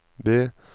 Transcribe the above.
B